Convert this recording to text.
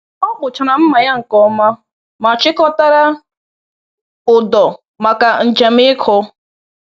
Ọ kpụchara mma ya nke ọma ma chịkọtara ụdọ maka njem ịkụ.